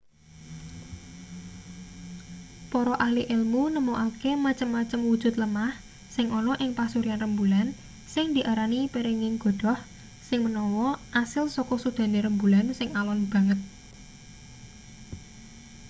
para ahli elmu nemokake macem-macem wujud lemah sing ana ing pasuryan rembulan sing diarani perenging godhoh sing menawa asil saka sudane rembulan sing alon banget